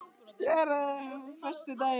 Geirtryggur, ferð þú með okkur á föstudaginn?